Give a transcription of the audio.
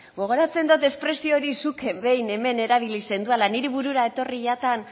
gogoratzen dot espresio hori zuk behin hemen erabili zenduala niri burura etorri jatan